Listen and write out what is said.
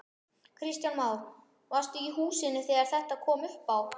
Kristján Már: Varstu í húsinu þegar þetta kom upp á?